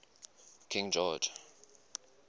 king george